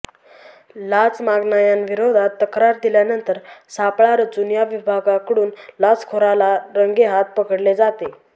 लाच मागणायांविरोधात तक्रार दिल्यानंतर सापळा रचून या विभागाकडून लाचखोराला रंगेहात पकडले जाते